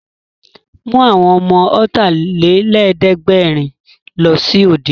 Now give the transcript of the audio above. Mú àwọn ọmọ Ọ̀tàlélẹ̀ẹ́dẹ́gbẹ̀rin lọ sí òde!